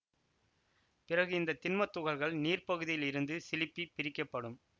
பிறகு இந்த திண்மத் துகள்கள் நீர்ப்பகுதியில் இருந்து சிலுப்பிப் பிரிக்க படும்